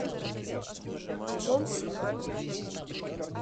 джон сильвер